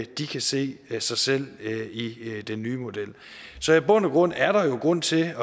de kan se sig selv i den nye model så i bund og grund er der jo grund til